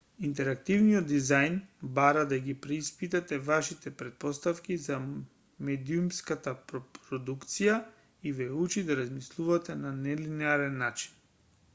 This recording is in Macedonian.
интерактивниот дизајн бара да ги преиспитате вашите претпоставки за медиумската продукција и ве учи да размислувате на нелинеарен начин